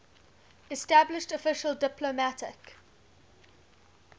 established official diplomatic